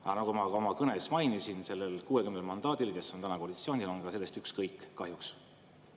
Aga nagu ma juba oma kõnes mainisin, nende 60 mandaadi saanuil, kes on täna koalitsioonis, on sellest kahjuks ükskõik.